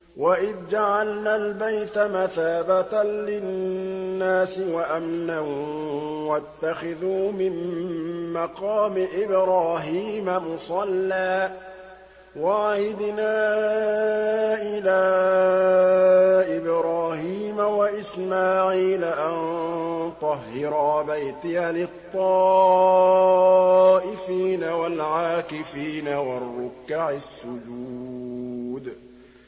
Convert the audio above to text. وَإِذْ جَعَلْنَا الْبَيْتَ مَثَابَةً لِّلنَّاسِ وَأَمْنًا وَاتَّخِذُوا مِن مَّقَامِ إِبْرَاهِيمَ مُصَلًّى ۖ وَعَهِدْنَا إِلَىٰ إِبْرَاهِيمَ وَإِسْمَاعِيلَ أَن طَهِّرَا بَيْتِيَ لِلطَّائِفِينَ وَالْعَاكِفِينَ وَالرُّكَّعِ السُّجُودِ